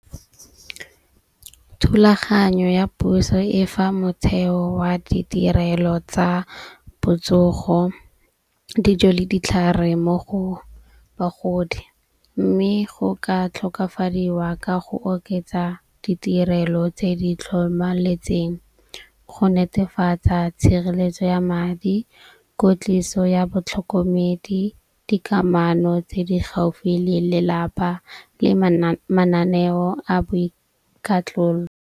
Thulaganyo ya puso e fa motshelo wa ditirelo tsa botsogo, dijo le ditlhare mo go bagodi. Mme go ka tlhokafadiwa ka go oketsa ditirelo tse di tlhomaletseng, go netefatsa tshireletso ya madi, kwetliso ya batlhokomedi, dikamano tse di gaufi le lelapa le mananeo a .